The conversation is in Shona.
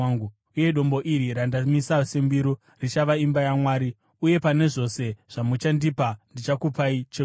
uye dombo iri randamisa sembiru richava imba yaMwari, uye pane zvose zvamuchandipa ndichakupai chegumi.”